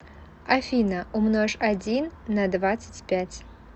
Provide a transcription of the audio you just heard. афина умножь один на двадцать пять